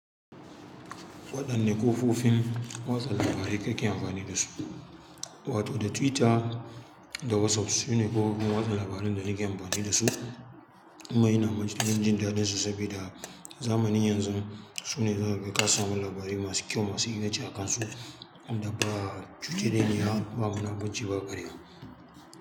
Wa ɗanne kofofin watsa labarai kake amfani dasu wato da Twitter da WhatsApp sune kofofin watsa labaran da nake amfani dasu. Wa innan ina matuƙar jin daɗinsu sabida zamanin yanzu sune za kaga ka samu labarai masu kyau masu inganci a kansu naba tireniya yace bakada rabo.